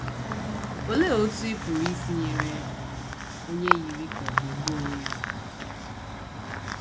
Olee Otú Ị Pụrụ Isi Nyere Onye Yiri Ka Ọ̀ Ga - egbu Onwe Ya Aka?